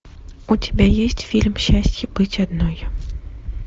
у тебя есть фильм счастье быть одной